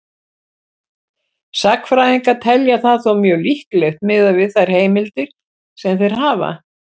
Sagnfræðingar telja það þó mjög líklegt miðað við þær heimildir sem þeir hafa.